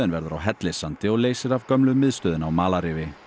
verður á Hellissandi og leysir af gömlu miðstöðina á malarrifi